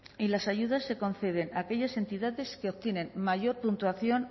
y las ayudas se conceden a aquellas entidades que obtienen mayor puntuación